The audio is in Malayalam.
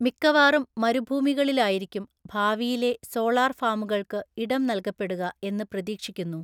മിക്കവാറും മരുഭൂമികളിലായിരിക്കും ഭാവിയിലെ സോളാർഫാമുകൾക്ക് ഇടം നൽകപ്പെടുക എന്ന് പ്രതീക്ഷിക്കുന്നു.